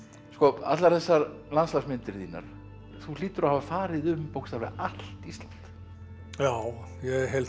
allar þessar landslagsmyndir þínar þú hlýtur að hafa farið um bókstaflega allt Ísland já ég held